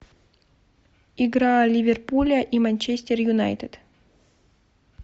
игра ливерпуля и манчестер юнайтед